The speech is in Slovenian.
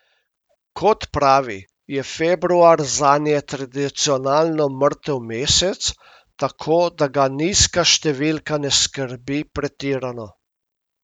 Kot pravi, je februar zanje tradicionalno mrtev mesec, tako da ga nizka številka ne skrbi pretirano.